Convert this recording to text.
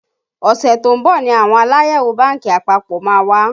Ọṣẹ tó ń bọ̀ ni àwọn Aláyẹ̀wò bánkì àpapọ̀ má wá